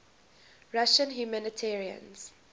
russian humanitarians